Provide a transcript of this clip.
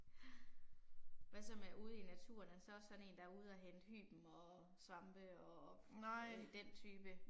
Ja. Hvad så med ude i naturen er han så også sådan én der er ude og hente hyben og svampe og den type?